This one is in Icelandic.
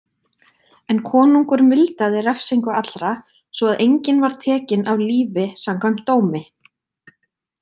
En konungur mildaði refsingu allra svo að enginn var tekinn af lífi samkvæmt dómi.